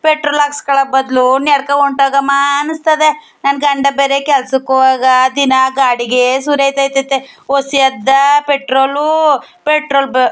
petrol ಹಾಕಿಸ್ಕೊಳ್ಳೋ ಬದಲು ನಡಕೊಂಡು ಹೊಂಟು ಹೋಗೋಮ ಅನಿಸ್ತದೆ ನನ್ನ ಗಂಡ ಬೇರೆ ಕೆಲಸಕ್ಕೆ ಹೋಗುವಾಗ ದಿನಾ ಗಾಡಿಗೆ ಸುರಿತೈತತೆ ವಸಿ ಆದ್ದ್ದಾ ಪೆಟ್ರೋಲ್ ಪೆಟ್ರೋಲ್ --